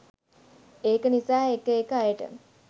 ඒක නිසා එක එක අයට